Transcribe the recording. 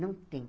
Não tem.